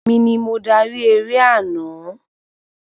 Èmi ni mo darí eré àná